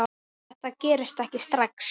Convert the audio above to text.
Þetta gerist ekki strax.